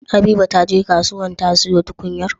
Habiba taje kasuwar ta siyo tukunyar?